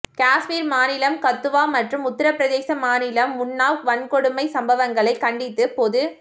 காஷ்மீர் மாநிலம் கத்துவா மற்றும் உத்தரப்பிரதேச மாநிலம் உன்னாவ் வன்கொடுமைச் சம்பவங்களை கண்டித்து பொது